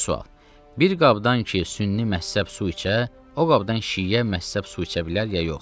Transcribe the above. İkinci sual: Bir qabdan ki, Sünni məzhəb su içə, o qabdan şiə məzhəb su içə bilər ya yox?